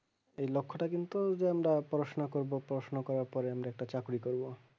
এই লক্ষ্যটা কিন্তু আমরা যে পড়াশোনা করবো পড়াশোনা করার পরে একটা চাকরি করবো